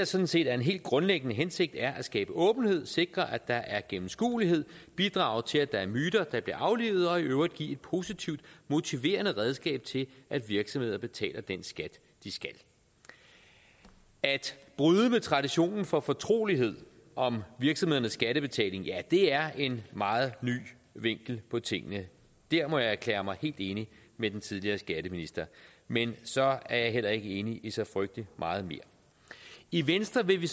sådan set er en helt grundlæggende hensigt er at skabe åbenhed sikre at der er gennemskuelighed bidrage til at der er myter der bliver aflivet og i øvrigt give et positivt motiverende redskab til at virksomheder betaler den skat de skal at bryde med traditionen for fortrolighed om virksomhedernes skattebetaling ja det er en meget ny vinkel på tingene der må jeg erklære mig helt enig med den tidligere skatteminister men så er jeg heller ikke enig i så frygtelig meget mere i venstre vil vi